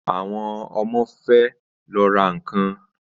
Àwọn ọmọ fẹ lọ ra nkan